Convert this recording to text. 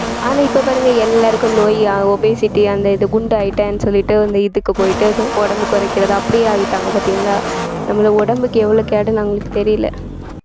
ஆனா இப்ப பாருங்க எல்லாருக்கும் நோய் obesity அந்த இது குண்டாயிட்டேன் சொல்லிட்டு அந்த இதுக்கு போயிட்டு உடம்பு குறைக்கிறது அப்படியே ஆயிட்டாங்க பாத்தீங்களா நம்மளை உடம்புக்கு எவ்வளவு கேடுன்னு அவங்களுக்கு தெரியலே